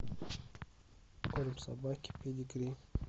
корм собаке педигри